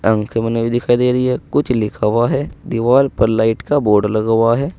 आंखे बनी हुई दिखाई दे रही है कुछ लिखा हुआ है दीवाल पर लाइट का बोर्ड लगा हुआ है।